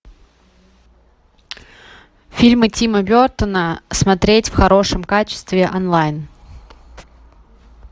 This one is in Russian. фильмы тима бертона смотреть в хорошем качестве онлайн